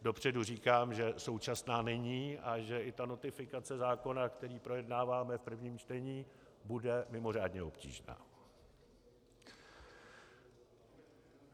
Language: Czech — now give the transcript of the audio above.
Dopředu říkám, že současná není a že i ta notifikace zákona, který projednáváme v prvním čtení, bude mimořádně obtížná.